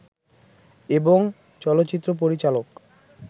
এবং চলচ্চিত্র পরিচালক